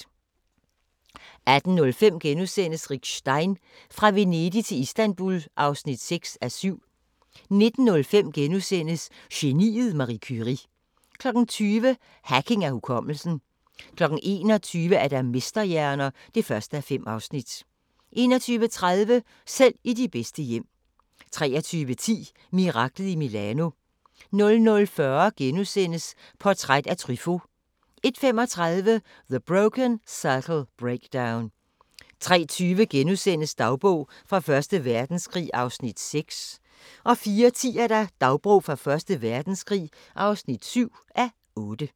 18:05: Rick Stein: Fra Venedig til Istanbul (6:7)* 19:05: Geniet Marie Curie * 20:00: Hacking af hukommelsen 21:00: Mesterhjerner (1:5) 21:30: Selv i de bedste hjem 23:10: Miraklet i Milano 00:40: Portræt af Truffaut * 01:35: The Broken Circle Breakdown 03:20: Dagbog fra Første Verdenskrig (6:8)* 04:10: Dagbog fra Første Verdenskrig (7:8)